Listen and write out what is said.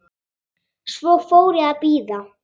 Svo fór ég að bíða.